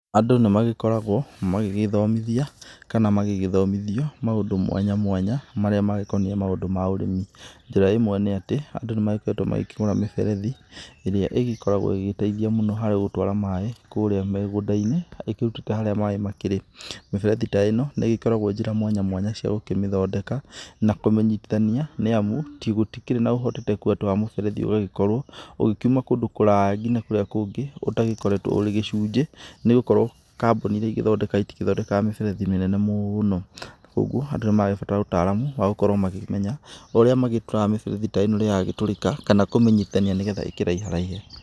Andũ nĩ magĩkoragwo magĩgĩĩthomithia kana magĩgĩthomithio maũndũ mwanya mwanya marĩa magĩkoniĩ maũndũ ma ũrĩmi. Njĩra ĩmwe nĩ atĩ, andũ nĩ magĩkoretwo magĩkĩgũra mĩberethi ĩrĩa ĩgikoragwo ĩgĩgĩteithia mũno harĩ gũtwara maaĩ kũũria mĩgũnda-inĩ ĩkĩrutĩte harĩa maaĩ makĩri. Mĩberethi ta ĩno, nĩ ĩgikoragwo njĩra mwanya mwanya cia gũkĩmĩthondeka, na kumĩnyitithania, nĩ amu gũtikĩrĩ na ũhotekeku atĩ wa mũberethi ũgagĩkorwo ũgĩkiuma kũndũ kũraya ngina kũrĩa kũngĩ ũtagĩkoretwo ũrĩ gĩcunjĩ, nĩ gũkorwo kambuni iria igĩthondekaga itigĩthondekaga mĩberethi mĩnene mũno. Ũguo, andũ nĩ maragĩbatara ũtaaramu wa gũkorwo magĩkĩmenya ũrĩa magĩturaga mĩberethi ĩno rirĩa yagĩtũrika kana kũmĩnyitania nĩ getha ĩkĩraiharaihe.